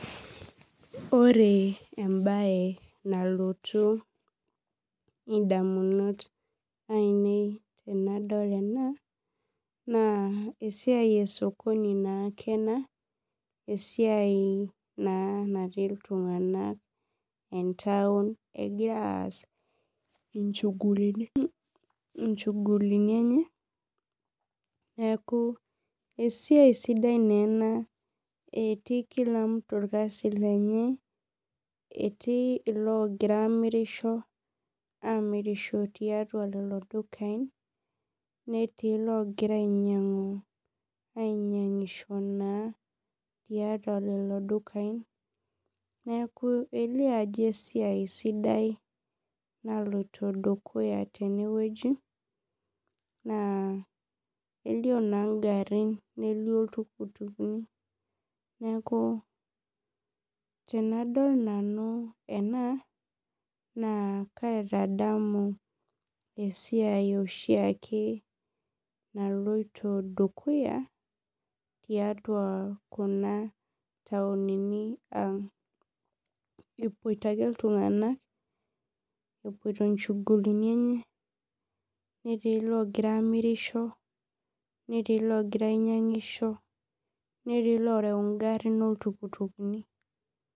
Ore embae nalotu ondamunot ainei tanadol ena na esiai na natii ltunganak entaun egira aas inchugulini enye neaku esiai sidai na ena eti kila mtu esiai enye etii logira amirisho etii logira amirisho toldukai netii logira ainyangisho na tiatua lolo dukai neaku elio ajo esiai sidai naloito dukuya tenewueji na elio na ngarin nelio ltukutuki neaku anadol nanu ena na kaitadamu esiai oshiake naloito dukuya tiatua kuna tauni aang epoito ake ltunganak epoito nchugulini enye netii logira ainyangisho netii lorew ngarin oltukutuki.